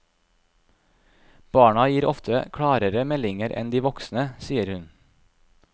Barna gir ofte klarere meldinger enn de voksne, sier hun.